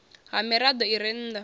ha mirado i re nnda